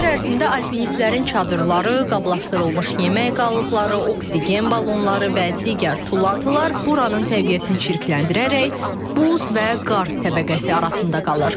On illiklər ərzində alpinistlərin çadırları, qablaşdırılmış yemək qalıqları, oksigen balonları və digər tullantılar buranın təbiətini çirkləndirərək buz və qar təbəqəsi arasında qalır.